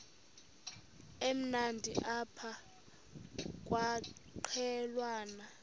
emnandi apha kwaqhelwana